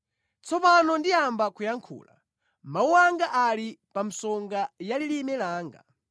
Tsopano ndiyamba kuyankhula; mawu anga ali pa msonga ya lilime langa.